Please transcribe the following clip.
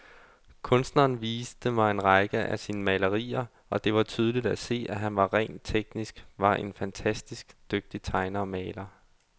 Kunstneren viste mig en række af sine malerier, og det var tydeligt at se, at han rent teknisk var en fantastisk dygtig tegner og maler.